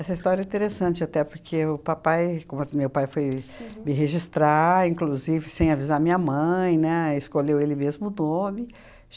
Essa história interessante até, porque o papai, como meu pai foi me registrar, inclusive sem avisar minha mãe, né, escolheu ele mesmo o nome.